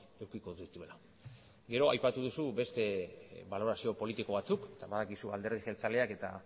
edukiko dituela gero aipatu duzu beste balorazio politiko batzuk eta badakizu alderdi jeltzaleak eta